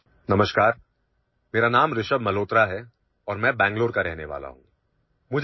''hello, میرا نام رشبھ ملہوترا ہے اور میں بنگلور سے ہوں